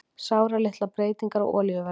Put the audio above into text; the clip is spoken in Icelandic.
Sáralitlar breytingar á olíuverði